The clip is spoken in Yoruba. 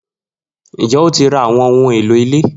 Njẹ o ti ra awọn ohun elo ile